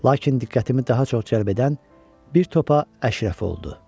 Lakin diqqətimi daha çox cəlb edən bir topa əşrəf oldu.